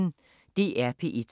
DR P1